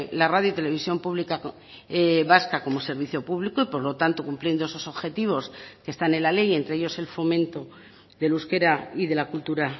la radio y televisión pública vasca como servicio público y por lo tanto cumpliendo esos objetivos que están en la ley y entre ellos el fomento del euskera y de la cultura